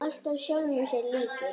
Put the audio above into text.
Alltaf sjálfum sér líkur.